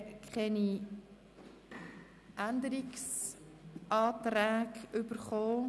Sie haben hierzu keine Änderungsvorschläge erhalten.